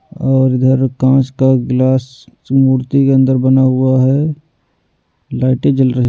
और इधर कांच का गिलास मूर्ति के अंदर बना हुआ है लाइटें जल रही--